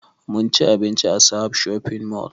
Munci abinci a sahad shopping mall